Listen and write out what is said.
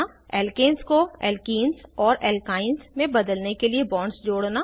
alkanes को alkenes और alkynes में बदलने के लिए बॉन्ड्स जोड़ना